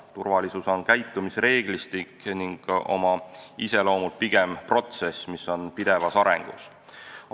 Turvalisus on käitumisreeglistik ning oma iseloomult pigem protsess, mis on pidevas arengus.